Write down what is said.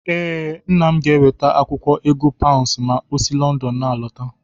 Ee, Nna m ga-eweta akwụkwọ ego paụnsụ ma o si Lọndọn n'alọta.